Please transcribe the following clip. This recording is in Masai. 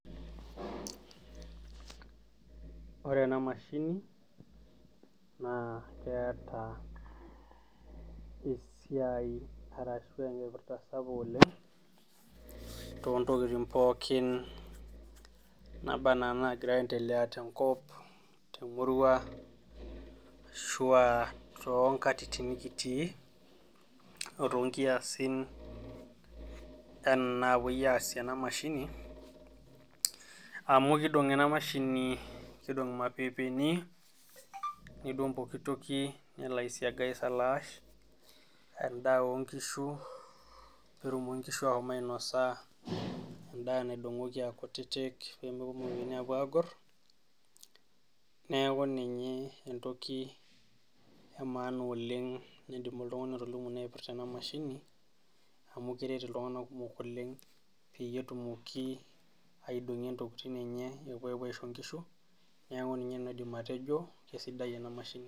Ore ena mashini keeta esiai ashua enkipirta sapuk oleng toontokitin pookin naabanaa inaagira aendelea tenkop temurua ashua too nktitin nikitii ore toonkiasi naapuoi aasie ena mashini amu keidong ena mashini keidong irmapeepeni neidong pokitoki nelo aisiaga aisalaash endaa oonkishu peetumoki inkishu aashom ainosa endaa aakutitik teemepuo irmaapeepeni agor neeku ninye embaye etipat oleng aidim atolimu amu keret iltung'anak kumok peyie etumoki aidong'o nepuo aisho inkishu neeku nena aidip atejo naipirta ena mashini.